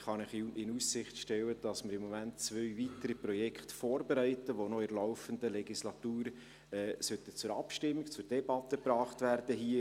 Ich kann Ihnen in Aussicht stellen, dass wir im Moment zwei weitere Projekte vorbereiten, die noch in der laufenden Legislatur hier im Rat zur Debatte und zur Abstimmung gebracht werden sollten.